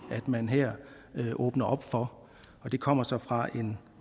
man her åbner op for og det kommer så fra en